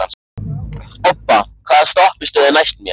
Obba, hvaða stoppistöð er næst mér?